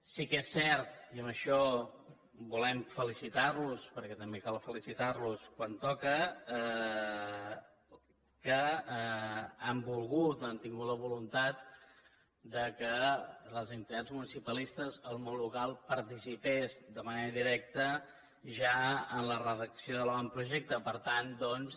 sí que és cert i en això volem felicitar los perquè també cal felicitar los quan toca que han volgut o han tingut la voluntat que les entitats municipalistes el món local participessin de manera directa ja en la redacció de l’avantprojecte per tant doncs